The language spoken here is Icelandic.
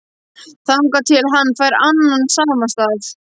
Þangað til hann fær annan samastað